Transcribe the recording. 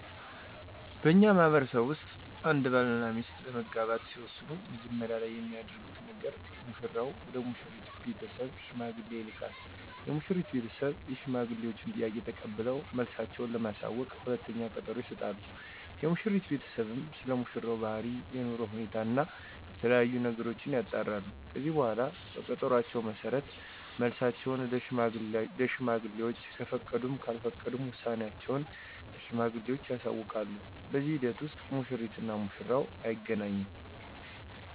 በእኛ ማህበረሰብ ውስጥ አንድ ባል እና ሚስት ለመጋባት ሲወስኑ መጀመሪያ ላይ የሚያደርጉት ነገር ሙሽራው ወደ ሙሽሪት ቤተሰብ ሽማግሌ ይልካል። የሙሽሪት ቤተሰብ የሽማግሌወችን ጥያቄ ተቀብለው መልሳቸው ለማሳወቅ ሁለተኛ ቀጠሮ ይሰጣሉ። የሙሽሪት ቤተሰብም ስለሙሽራው ባህሪ፣ የኑሮ ሁኔታ እና የተለያዬ ነገሮችን ያጣራሉ። ከዚህ በኃላ በቀጠሮአቸው መሠረት መልሳቸውን ለሽማግሌወች ከፈቀዱም ካልፈቀዱም ውሳኔአቸውን ለሽማግሌወቹ ያሳውቃሉ። በዚህ ሂደት ውስጥ ሙሽሪት እና ሙሽራው አይገናኙም።